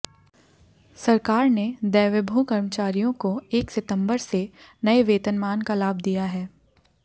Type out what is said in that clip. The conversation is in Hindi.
सरकार ने दैवेभो कर्मचारियों को एक सितंबर से नए वेतनमान का लाभ दिया है